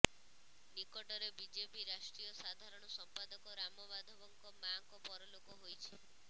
ନିକଟରେ ବିଜେପି ରାଷ୍ଟ୍ରୀୟ ସାଧାରଣ ସମ୍ପାଦକ ରାମ ମାଧବଙ୍କ ମାଆଙ୍କ ପରଲୋକ ହୋଇଯାଇଛି